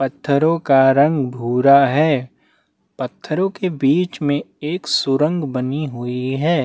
पत्थरों का रंग भूरा है पत्थरों के बीच में एक सुरंग बनी हुई है।